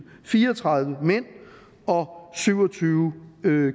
fire og tredive mænd og syv og tyve